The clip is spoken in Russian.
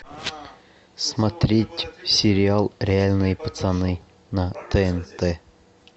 смотреть сериал реальные пацаны на тнт